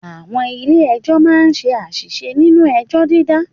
Àwọn ilé Ẹjọ́ máa ń ṣe àṣìṣe nínú ẹjọ́ dídá